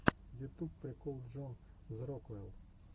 ютуб прикол джон зэрокул